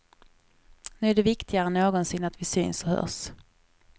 Nu är det viktigare än någonsin att vi syns och hörs.